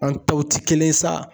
An tɔw ti kelen ye sa.